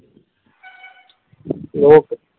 Okay.